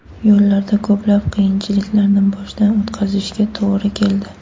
Yo‘lda ko‘plab qiyinchiliklarni boshdan o‘tkazishiga to‘g‘ri keldi.